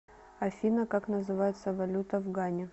афина как называется валюта в гане